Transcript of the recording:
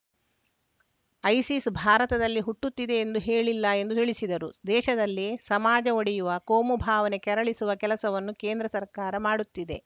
ISIS ಭಾರತದಲ್ಲಿ ಹುಟ್ಟುತ್ತಿದೆ ಎಂದು ಹೇಳಿಲ್ಲ ಎಂದು ತಿಳಿಸಿದರು ದೇಶದಲ್ಲಿ ಸಮಾಜ ಒಡೆಯುವ ಕೋಮು ಭಾವನೆ ಕೆರಳಿಸುವ ಕೆಲಸವನ್ನು ಕೇಂದ್ರ ಸರ್ಕಾರ ಮಾಡುತ್ತಿದೆ